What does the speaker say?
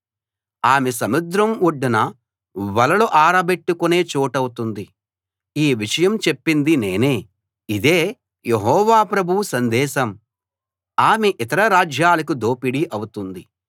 ఆమె సముద్రం ఒడ్డున వలలు ఆరబెట్టుకునే చోటవుతుంది ఈ విషయం చెప్పింది నేనే ఇదే యెహోవా ప్రభువు సందేశం ఆమె ఇతర రాజ్యాలకు దోపిడీ అవుతుంది